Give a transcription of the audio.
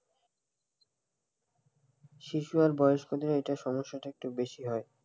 শিশু আর বয়স্কদের এটা সমস্যাটা একটু বেশি হয়,